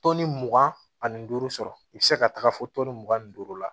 mugan ani duuru sɔrɔ i be se ka taga fɔ mugan ni duuru la